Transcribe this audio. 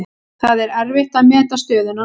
Það er erfitt að meta stöðuna núna.